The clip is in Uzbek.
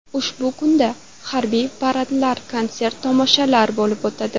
Ushbu kunda harbiy paradlar, konsert-tomoshalar bo‘lib o‘tadi.